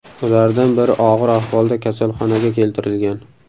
Ulardan biri og‘ir ahvolda kasalxonaga keltirilgan.